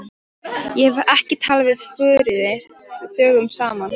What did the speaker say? Ég hef ekki talað við Þuríði dögum saman.